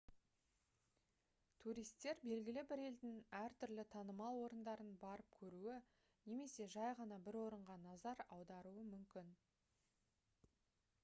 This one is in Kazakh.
туристер белгілі бір елдің әртүрлі танымал орындарын барып көруі немесе жай ғана бір орынға назар аударуы мүмкін